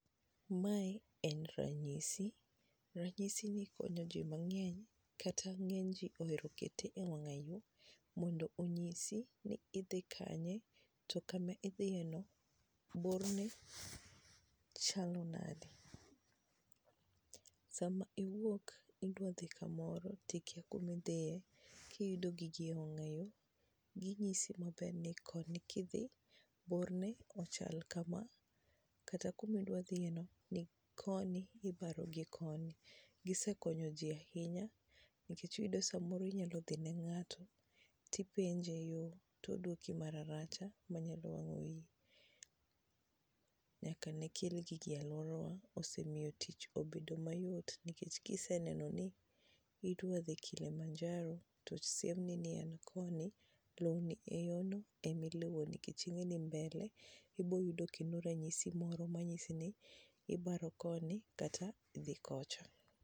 Mae en ranyisi, ranyisi makonyo ji man'ge kata nye'ge ji mondo 0nyisi ni idhi kanye to kama idhi eno bor ne chalnade. Saama iwouk idwaro dhi kamoroti ikia kamaidhie. kiyudo gigi ewang'yo ginyisi maber koni kiidhi borne chal kama kata kumiidwa dhieno ni koni kata koni. gisekonyo ji ahinyanikech iyudo kipenjo ng;ato to onyalo dwouki maracha mawang'o iyi .Nyaka ne kel gigi tich osebet mayot.